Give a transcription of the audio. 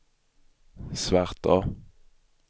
Svartå